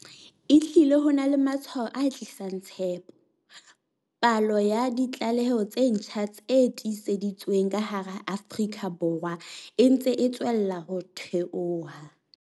Ehlile ho na le matshwao a tlisang tshepo. Palo ya ditlaleho tse ntjha tse tiiseditsweng ka hara Afrika Borwa e ntse e tswella ho theoha.